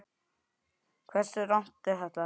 Hversu rangt er þetta?